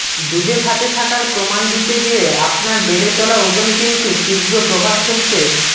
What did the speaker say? দুধে ভাতে থাকার প্রমাণ দিতে গিয়ে আপনার বেড়ে চলা ওজন কিন্তু তীব্র প্রভাব ফেলতে